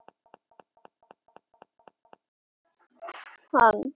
Þín dóttir, Elenóra Katrín.